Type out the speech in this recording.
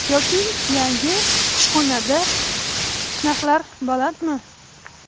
Yoki yangi kushxonda narxlar balandmi?